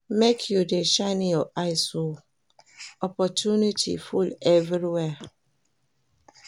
Make you dey shine your eyes o, opportunity full everywhere.